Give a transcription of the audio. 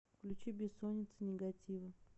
включи бессонница нигатива